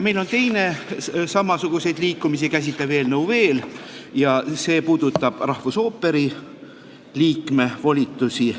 Meil on teine samasuguseid liikumisi käsitlev eelnõu veel, see puudutab rahvusooperi liikme volitusi.